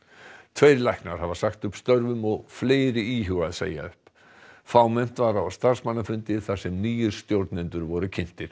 tveir læknar hafa sagt upp störfum og fleiri íhuga að segja upp fámennt var á starfsmannafundi þar sem nýir stjórnendur voru kynntir